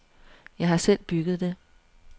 Jeg har selv bygget det.